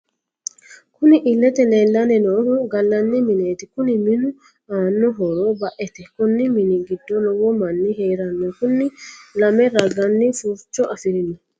Kunni illete leelani noohu galani mineeti kunni minu aano horro ba'ete konni minni giddo lowo Mani heerrano kunni lame ragaani furicho afirino.